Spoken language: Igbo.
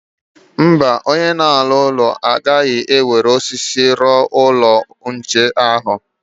Mba, onye na-ewu ụlọ agaghị eji osisi wuo ụlọ nchekwa ahụ.